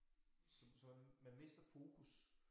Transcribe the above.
Som sådan man mister fokus